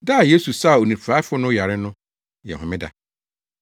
Da a Yesu saa onifuraefo no yare no yɛ homeda.